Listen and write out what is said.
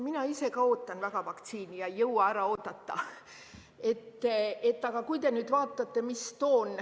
Mina ise ka ootan väga vaktsiini ja ei jõua ära oodata.